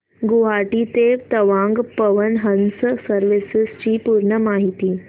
गुवाहाटी ते तवांग पवन हंस सर्विसेस ची पूर्ण माहिती